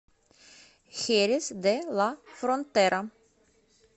херес де ла фронтера